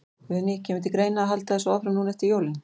Guðný: Kemur til greina að halda þessu áfram núna eftir jólin?